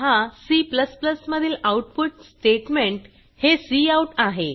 पहा C मधील output statement हे काउट आहे